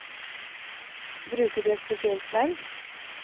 Bruker du et spesielt sverd?